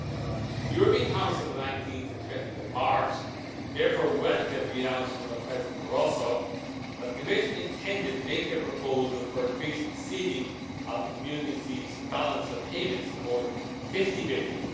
The European Council of 19 and 20 March therefore welcomed the announcement by President Barroso that the Commission intended to make a proposal for increasing the ceiling of the Community's balance of payments support to EUR 50 billion.